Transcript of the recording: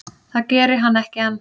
Það geri hann ekki enn.